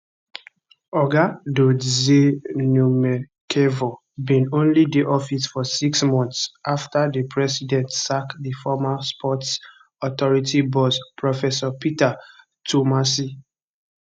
oga dodzie numekevor bin only dey office for six months afta di president sack di former sports authority boss professor peter twumasi